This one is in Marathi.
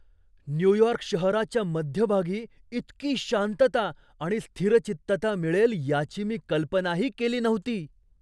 न्यूयॉर्क शहराच्या मध्यभागी इतकी शांतता आणि स्थिरचित्तता मिळेल याची मी कल्पनाही केली नव्हती!